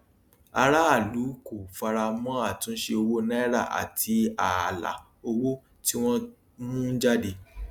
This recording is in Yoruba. aráàlú kò fara mọ àtúnṣe owó naira àti ààlà owó tí wọn ń mú jáde